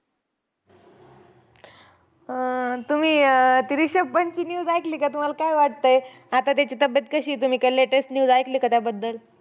अं तुम्ही अं ती रिषभ पंतची news ऐकली का? तुम्हांला काय वाटतंय, आता त्याची तब्येत कशी तुम्ही काय latest news ऐकली का त्याबद्दल?